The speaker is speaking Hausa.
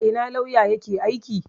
A ina lauya yake aiki?